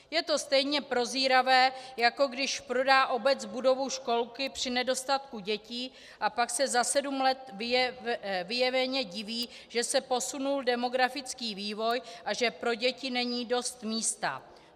Je to stejně prozíravé, jako když prodá obec budovu školky při nedostatku dětí a pak se za sedm let vyjeveně diví, že se posunul demografický vývoj a že pro děti není dost místa.